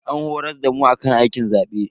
An horas damu akan aikin zabe.